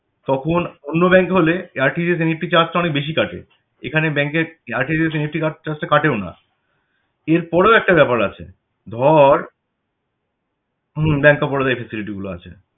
তখন অন্য ব্যাংক এ হলে RTGSNEFTcharge তো অনেক বেশি কাটে এখানে bankRTGSNEFTcharge টা কাটেও না এর পরেও একটা ব্যাপার আছে ধর হম Bank of Baroda য় এই facility গুলো আছে